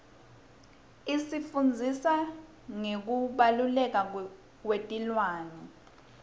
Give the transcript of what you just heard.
isifundzisa ngekubaluleka kwetilwane